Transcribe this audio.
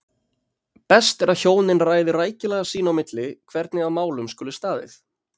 Best er að hjónin ræði rækilega sín á milli hvernig að málum skuli staðið.